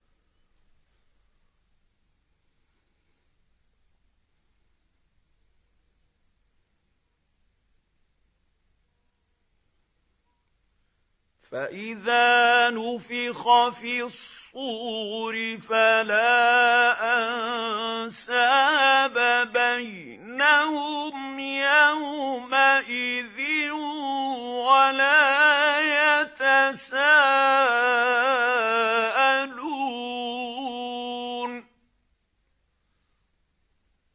فَإِذَا نُفِخَ فِي الصُّورِ فَلَا أَنسَابَ بَيْنَهُمْ يَوْمَئِذٍ وَلَا يَتَسَاءَلُونَ